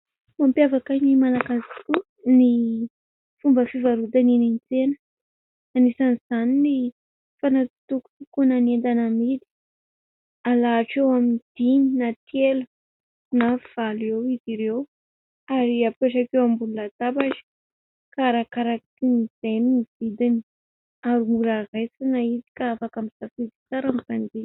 Mampiavaka ny malagasy tokoa ny fomba fivarotana eny an-tsena. Anisan'izany ny fanatsitokotokoana entana amidy. Alahatra eo amin'ny dimy na telo na valo eo izy ireo ary apetraka eo ambony latabatra ka arakarak'izay no vidiny. Ary mora raisiny izy ka afaka misafidy tsara ny mpanjifa.